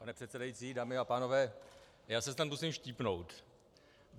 Pane předsedající, dámy a pánové, já se snad musím štípnout.